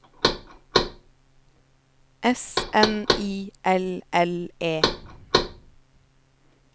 S N I L L E